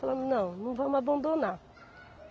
Falamos, não, não vamos abandonar.